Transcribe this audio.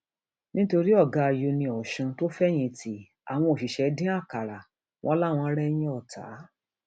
nítorí ọgá uniosun tó fẹyìntì àwọn òṣìṣẹ dín àkàrà wọn láwọn rẹyìn ọtá